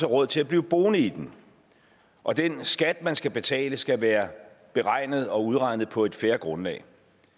råd til at blive boende i den og den skat man skal betale skal være beregnet og udregnet på et fair grundlag